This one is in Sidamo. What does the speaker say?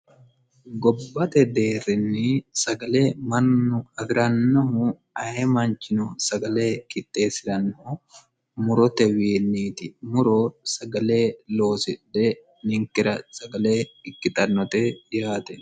gobbate deerrinni sagale mannu afi'rannohu ayi manchino sagale itteessi'rannohu murote wiinniiti muro sagale loosidhe ninkira sagale ikkixannote yaate